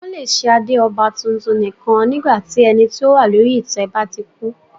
Wọn le ṣe ade ọba titun nikan nígbà tí ẹni ti o wa lori itẹ ba ti ku.